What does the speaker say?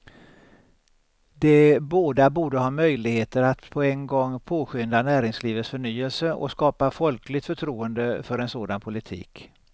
De båda borde ha möjligheter att på en gång påskynda näringslivets förnyelse och skapa folkligt förtroende för en sådan politik.